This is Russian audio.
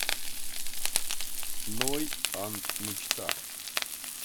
ной анд мечта